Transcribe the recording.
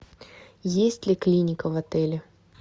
есть ли клиника в отеле